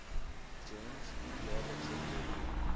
gems jaarlikse voordele